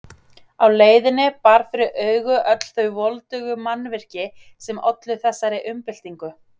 Á leiðinni bar fyrir augu öll þau voldugu mannvirki sem ollu þessari umbyltingu.